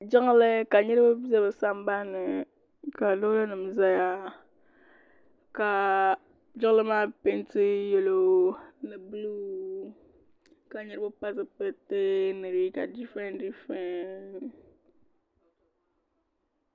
Jiŋli ka niriba bɛ di sanban ni ka loori nim zaya ka jiŋli maa pɛɛnti yɛlo ni buluu ka niriba pili zipiliti ni liiga difirent difirent.